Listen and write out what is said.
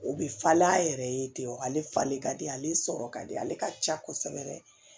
O bɛ falen a yɛrɛ ye ten wa ale falen ka di ale sɔrɔ ka di ale ka ca kosɛbɛ